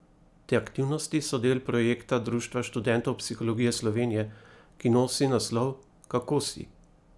Te aktivnosti so del projekta Društva študentov psihologije Slovenije, ki nosi naslov Kako si?